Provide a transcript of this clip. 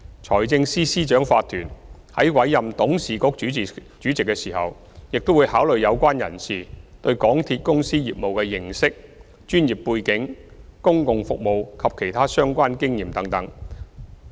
財政司司長法團在委任董事局主席時，會考慮有關人士對港鐵公司業務的認識、專業背景、公共服務及其他相關經驗等。